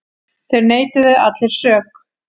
Þeir neituðu allir sök.